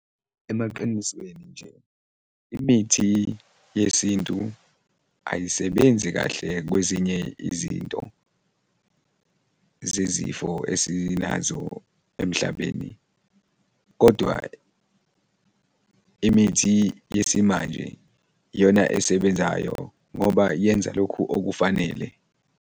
Emaqinisweni nje, imithi yesintu ayisebenzi kahle kwezinye izinto zezizifo esinazo emhlabeni kodwa imithi yesimanje iyona esebenzayo ngoba yenza lokhu okufanele.